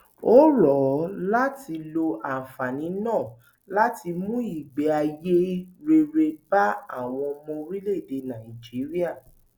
ó rọ ọ láti lo àǹfààní náà láti mú ìgbé ayé rere bá àwọn ọmọ orílẹèdè nàíjíríà